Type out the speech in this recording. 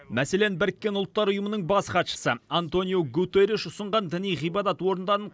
мәселен біріккен ұлттар ұйымының бас хатшысы антониу гутерриш ұсынған діни ғибадат орындарын